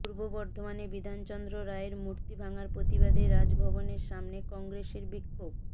পূর্ব বর্ধমানে বিধানচন্দ্র রায়ের মূর্তি ভাঙার প্রতিবাদে রাজভবনের সামনে কংগ্রেসের বিক্ষোভ